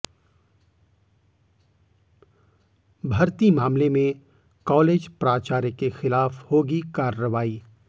भर्ती मामले में कॉलेज प्राचार्य के खिलाफ होगी कार्रवाई